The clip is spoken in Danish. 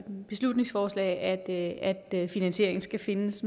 beslutningsforslag at finansieringen skal findes